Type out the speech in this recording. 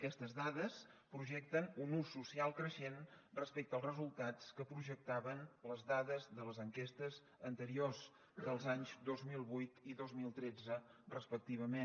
aquestes dades projecten un ús social creixent respecte als resultats que projectaven les dades de les enquestes anteriors dels anys dos mil vuit i dos mil tretze respectivament